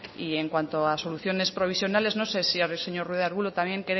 y en cuanto a soluciones provisionales no sé si el señor ruiz de arbulo también